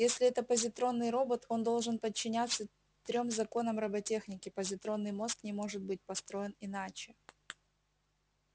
если это позитронный робот он должен подчиняться трём законам роботехники позитронный мозг не может быть построен иначе